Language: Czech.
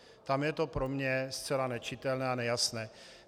Tam je to pro mě zcela nečitelné a nejasné.